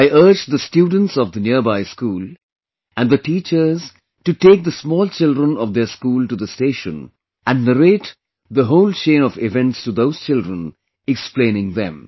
I urge the students of the nearby school, and the teachers to take the small children of their school to the station and narrate the whole chain of events to those children, explaining them